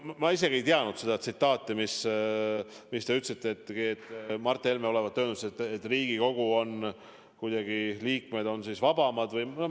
Ma isegi ei teadnud seda tsitaati, mis te ütlesite, et Mart Helme olevat öelnud, et Riigikogu liikmed on kuidagi vabamad või nii.